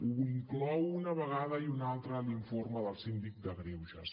ho inclou una vegada i una altra l’informe del síndic de greuges